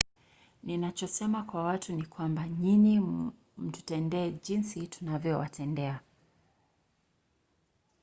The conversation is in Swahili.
ninachosema kwa watu ni kwamba nyinyi mtutendee jinsi tunavyowatendea